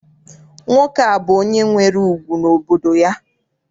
Nwoke a bụ onye nwere ùgwù n'obodo ya.